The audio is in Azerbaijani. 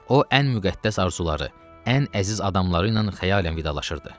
O ən müqəddəs arzuları, ən əziz adamları ilə xəyalən vidalaşırdı.